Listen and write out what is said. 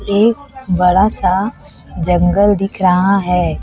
एक बड़ा सा जंगल दिख रहा है।